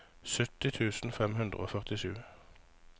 sytti tusen fem hundre og førtisju